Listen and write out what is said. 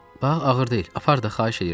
Bax, ağır deyil, apar da, xahiş eləyirəm.